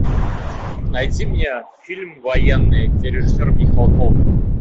найди мне фильм военный где режиссер михалков